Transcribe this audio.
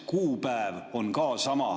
Kuupäev on ka sama.